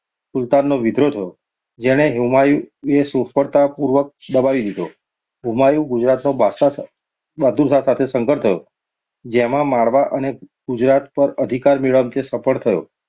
સુલતાનોનો વિદ્રોહ થયો, જેને હુમાયુએ સફ્ળતાપૂર્વક દબાવી દીધો હુમાયુનો ગુજરાતના બહાદુરશાહ સાથે સંઘર્ષ થયો, જેમાં માળવા અને ગુજરાત પર અધિકાર મેળવવામાં તે સફ્ળ થયો.